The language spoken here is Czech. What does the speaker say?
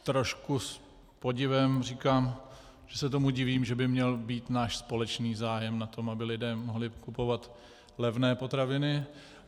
Trošku s podivem říkám, že se tomu divím, že by měl být náš společný zájem na tom, aby lidé mohli kupovat levné potraviny.